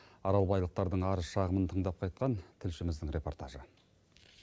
аралбайлықтардың арыз шағымын тыңдап қайтқан тілшіміздің репортажы